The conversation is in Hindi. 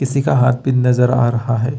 किसी का हाथ नजर आ रहा है।